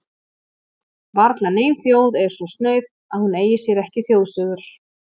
Varla nein þjóð er svo snauð að hún eigi sér ekki þjóðsögur.